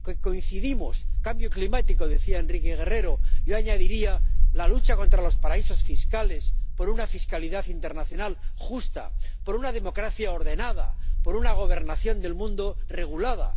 Coincidimos cambio climático —decía Enrique Guerrero—, y yo añadiría la lucha contra los paraísos fiscales, por una fiscalidad internacional justa, por una democracia ordenada, por una gobernación del mundo regulada.